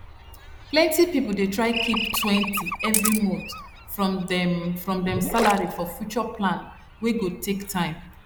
plenty people dey try keeptwentyevery month from dem from dem salary for future plan wey go take time